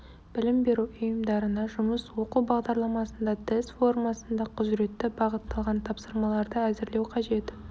білім беру ұйымдарына жұмыс оқу бағдарламасында тест формасында құзыретті бағытталған тапсырмаларды әзірлеу қажет